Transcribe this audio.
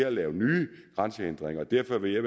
at lave nye grænsehindringer og derfor vil jeg